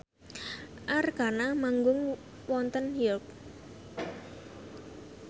Arkarna manggung wonten York